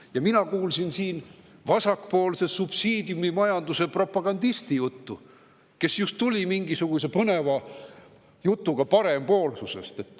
Ja mina kuulsin siin vasakpoolse subsiidiumimajanduse propagandisti juttu, kes just tuli välja mingisuguse põneva jutuga parempoolsusest.